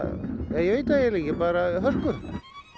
ég veit það eiginlega ekki bara á hörku